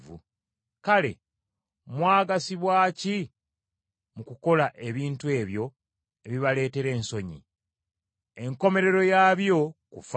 Kale mwagasibwa ki mu kukola ebintu ebyo, ebibaleetera ensonyi? Enkomerero yaabyo kufa.